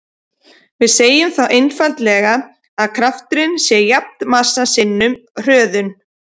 Við segjum þá einfaldlega að krafturinn sé jafn massa sinnum hröðun.